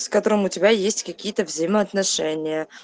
с которым у тебя есть какие-то взаимоотношения